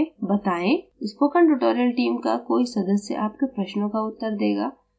spoken tutorial team का कोई सदस्य आपके प्रश्नों का उत्तर देगा